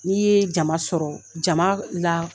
N'i ye jama sɔrɔ jama la